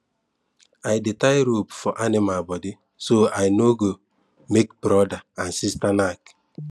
i dey tie rope for animal body so i no go make brother and sister knack